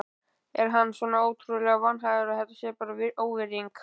Er hann svona ótrúlega vanhæfur að þetta sé bara óvirðing?